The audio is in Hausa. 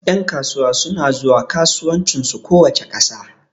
Ƴan kasuwa suna zuwa kasuwancin su kowace ƙasa